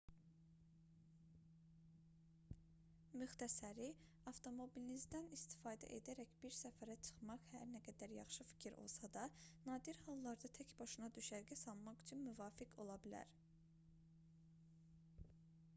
müxtəsəri avtomobilinizdən istifadə edərək bir səfərə çıxmaq hər nə qədər yaxşı fikir olsa da nadir hallarda tək başına düşərgə salmaq üçün müvafiq ola bilər